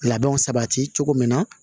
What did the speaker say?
Labɛnw sabati cogo min na